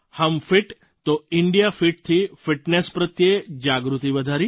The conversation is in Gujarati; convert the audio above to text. હમ ફિટ તો ઇંડિયા ફિટથી ફિટનેસ પ્રત્યે જાગૃતિ વધારી